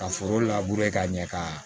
Ka foro ka ɲɛ ka